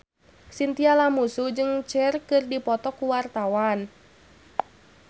Chintya Lamusu jeung Cher keur dipoto ku wartawan